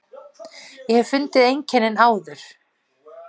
Ég hef fundið einkennin áður.